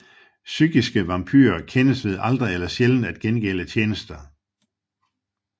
Psykiske vampyrer kendes ved aldrig eller sjældent at gengælde tjenester